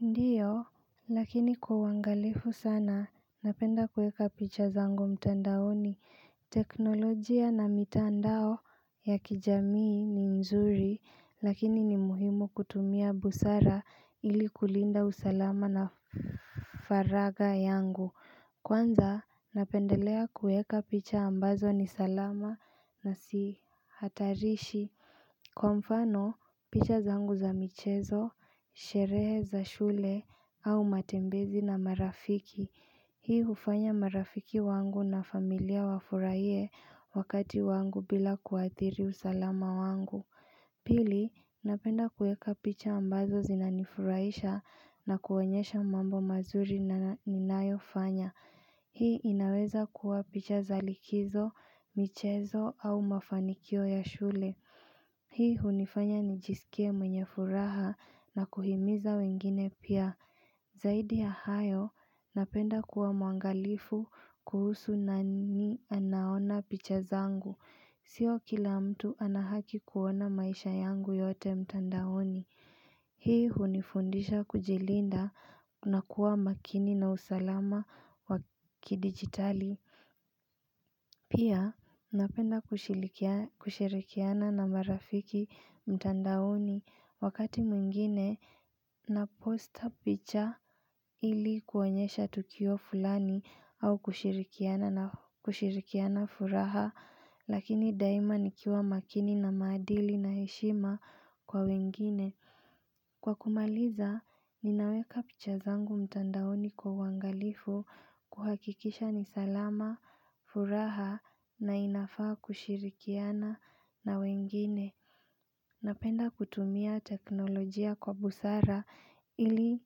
Ndiyo, lakini kwa uangalifu sana, napenda kuweka picha zangu mtandaoni. Teknolojia na mitandao ya kijamii ni nzuri, lakini ni muhimu kutumia busara ili kulinda usalama na faragha yangu. Kwanza, napendelea kuweka picha ambazo ni salama na sihatarishi, kwa mfano, picha zangu za michezo, sherehe za shule au matembezi na marafiki Hii hufanya marafiki wangu na familia wafurahie wakati wangu bila kuadhiri usalama wangu Pili, napenda kuweka picha ambazo zinanifuraisha na kuwaonyesha mambo mazuri ninayofanya. Hii inawezakua picha za likizo, michezo au mafanikio ya shule. Hii hunifanya nijisikie mwenye furaha na kuhimiza wengine pia. Zaidi ya hayo, napenda kuwa mwangalifu kuhusu nani anaona picha zangu. Sio kila mtu ana haki kuona maisha yangu yote mtandaoni. Hii hunifundisha kujilinda, na kuwa makini na usalama wa kidigitali. Pia napenda kushirikiana na marafiki mtandaoni, wakati mwingine na posta picha ili kuonyesha tukio fulani au kushirikiana furaha Lakini daima nikiwa makini na maadili na heshima kwa wengine. Kwa kumaliza, ninaweka picha zangu mtandaoni kwa uangalifu kuhakikisha ni salama, furaha na inafaa kushirikiana na wengine. Napenda kutumia teknolojia kwa busara ili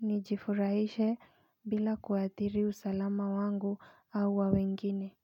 nijifurahishe bila kuadhiri usalama wangu au wa wengine.